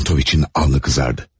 Çentoviçin alnı qızardı.